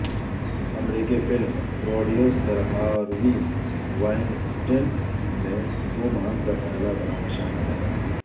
امریکی film producer Harvey Weinstein me too مہم کا پہلا بڑا نشانہ بنے